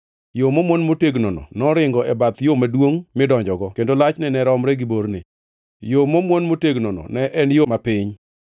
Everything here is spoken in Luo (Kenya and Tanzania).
Yo momwon motegnono noringo e bath yo maduongʼ midonjogo, kendo lachne ne romre gi borne. Yo momwon motegnono ne en yo mapiny.